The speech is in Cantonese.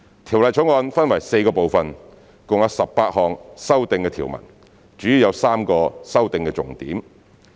《條例草案》分為4個部分，共有18項修訂條文，主要有3個修訂重點。